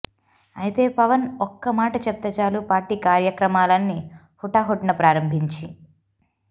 అయితే పవన్ ఒక్క మాట చెప్తే చాలు పార్టీ కార్యక్రమాలని హుటాహుటిన ప్రారంభించి